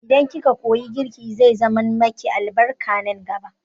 Idan ki ka koyi girki, zai zaman ma ki albarka nan gaba